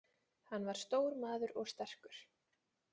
Hann var stór maður og sterkur.